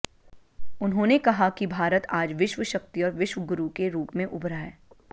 उन्होंने कहा कि भारत आज विश्व शक्ति और विश्व गुरु के रूप में उभरा है